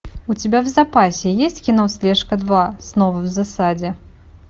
у тебя в запасе есть кино слежка два снова в засаде